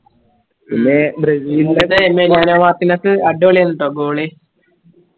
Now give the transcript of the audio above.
പിന്നേ ബ്രസീലിലെ അടിപൊളി ആരുന്നുട്ടോ goali